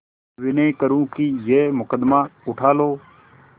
विनय करुँ कि यह मुकदमा उठा लो